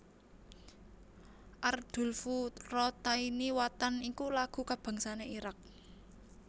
Ardulfurataini Watan iku lagu kabangsané Irak